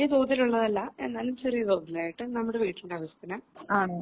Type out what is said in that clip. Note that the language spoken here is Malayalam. വലിയ തോതിലുള്ളതല്ല എന്നാലും ചെറിയ തോതിലായിട്ട് നമ്മുടെ വീട്ടിലാവിശ്യത്തിന്